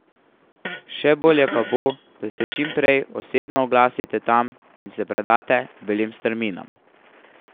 Še bolje pa bo, da se čim prej tudi osebno oglasite tam in se predate belim strminam.